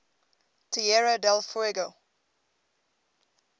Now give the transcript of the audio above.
tierra del fuego